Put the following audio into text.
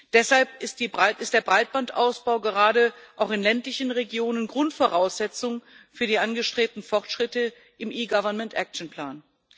Deshalb ist der Breitbandausbau gerade auch in ländlichen Regionen Grundvoraussetzung für die angestrebten Fortschritte im eGovernment action plan